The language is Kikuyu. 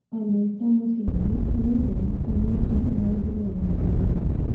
wanuita mũthingi, nïũthũ kũnyita maũndũ maria maritũ